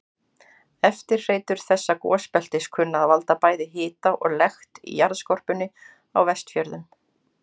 Eftirhreytur þessa gosbeltis kunna að valda bæði hita og lekt í jarðskorpunni á Vestfjörðum.